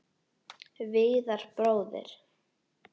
Viðar bróðir.